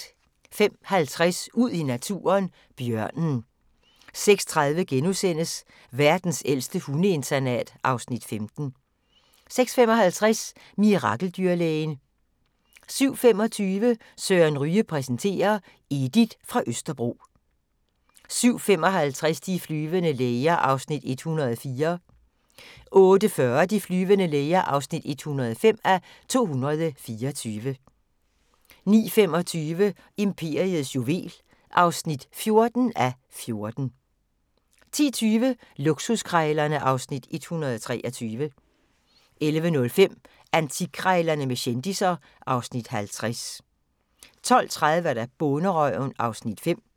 05:50: Ud i naturen: Bjørnen 06:30: Verdens ældste hundeinternat (Afs. 15)* 06:55: Mirakeldyrlægen 07:25: Søren Ryge præsenterer: Edith fra Østerbro 07:55: De flyvende læger (104:224) 08:40: De flyvende læger (105:224) 09:25: Imperiets juvel (14:14) 10:20: Luksuskrejlerne (Afs. 123) 11:05: Antikkrejlerne med kendisser (Afs. 50) 12:30: Bonderøven (Afs. 5)